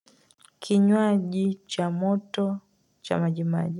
Kinywaji cha moto cha majimaji.